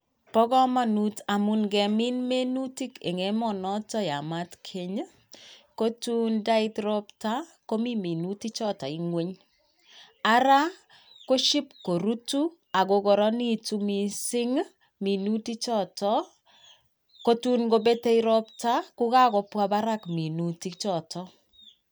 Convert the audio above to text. Bo komonut amun ingemin minutik en emonoton yamat genyi ko tun ndait ropta komite minutik choton gweny araa koship korutu ak kokoronekitun missing minutik choton kotun kopete ropta kokakobwa barak minutik choton.